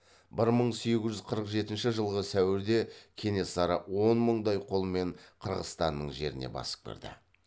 бір мың сегіз жүз қырық жетінші жылғы сәуірде кенесары он мындай қолмен қырғызстанның жеріне басып кірді